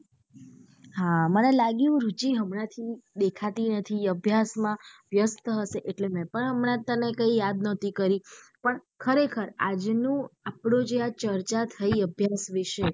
હા મને લાગ્યું રુચિ એમના થી દેખાતી નથી અભ્યાસ માં વ્યસ્ત હશે એટલે મેં પણ હમણાં તને કઈ યાદ નાતી કરી પણ ખરે ખાર આજનું આપણું જે આ ચર્ચા થઇ અભ્યાસ વિશે.